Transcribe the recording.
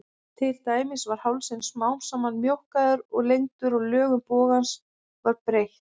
Til dæmis var hálsinn smám saman mjókkaður og lengdur og lögun bogans var breytt.